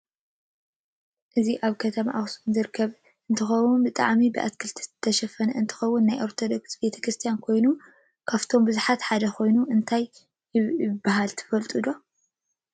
እዚ አብ ከተማ አክሱም ዝርከብ እንትከውን ብጠዓሚ ብአትክልት ዝተሸፈነ አንትከውን ናይ አርዶቶክስ ቤተክርስትያን ኮይኑ ካፈቶም ቡዛሓት ሓደ ከይኑ እንታይ ይባሃል ትፈልጥዶ?